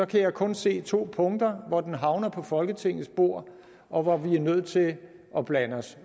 kan jeg kun se to punkter hvor det havner på folketingets bord og hvor vi er nødt til at blande os